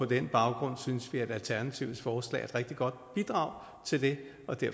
den baggrund synes vi at alternativets forslag er et rigtig godt bidrag til det